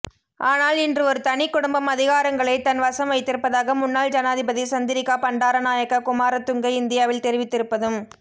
ஆனால் இன்று ஒரு தனிக்குடும்பம் அதிகாரங்களை தன் வசம் வைத்திருப்பதாக முன்னாள் ஜனாதிபதி சந்திரிகா பண்டாரநாயகா குமாரதுங்க இந்தியாவில் தெரிவித்திருப்பதும்